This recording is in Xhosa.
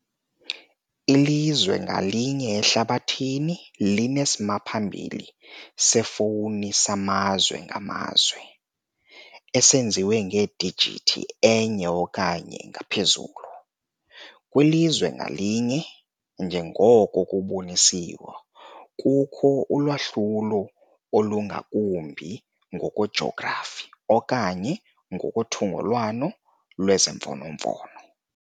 Ilizwe ngalinye ehlabathini linesimaphambili sefowuni samazwe ngamazwe, esenziwe ngedijithi enye okanye ngaphezulu, kwilizwe ngalinye - njengoko kubonisiwe - kukho ulwahlulo olungakumbi ngokwejografi okanye ngothungelwano lwemfonomfono.